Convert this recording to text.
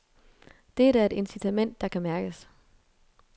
Det er da et incitament, der kan mærkes.